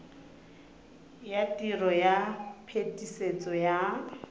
ya tiro ya phetisetso ya